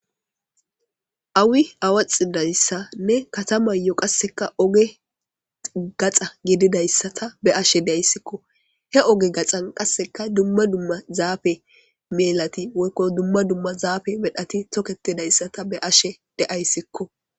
Awi awaxidayssanne katamayo qasseka oge gaxa gedidayssata be ashe deayssikko he oge gaxan qasseka dumma dumma zaafe melati woykko dumma dumma zaafe medhati toketidayssata be ashe de'ayssikko